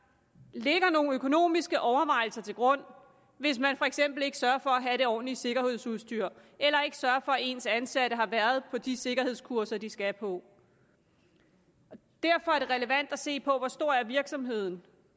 ligger nogle økonomiske overvejelser til grund hvis man for eksempel ikke sørger for at have det ordentlige sikkerhedsudstyr eller ikke sørger for at ens ansatte har været på de sikkerhedskurser de skal på derfor er det relevant at se på hvor stor virksomheden